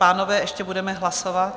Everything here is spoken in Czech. Pánové, ještě budeme hlasovat.